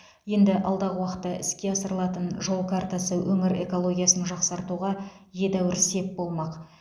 енді алдағы уақытта іске асырылатын жол картасы өңір экологиясын жақсартуға едәуір сеп болмақ